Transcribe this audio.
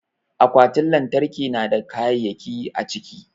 Akwatin lantarki na da kayayyaki a ciki.